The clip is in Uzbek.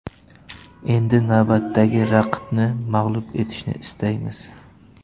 Endi navbatdagi raqibni mag‘lub etishni istaymiz.